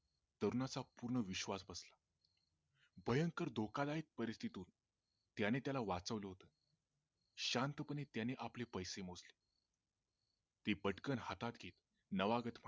पूर्ण विश्वास बसला भयंकर धोकादायक परीस्थितीतून त्याने त्याला वाचवल होते शांतपणे त्याने आपले पैसे मोजले ते पटकन हातात घेत नावागत